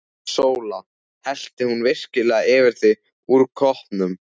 SÓLA: Hellti hún virkilega yfir þig úr koppnum!